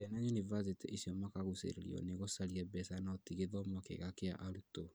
Ene yunibathĩtĩ icio makagucĩrĩrio nĩ gũcaria mbeca no ti gĩthomo kĩega kĩa arutwo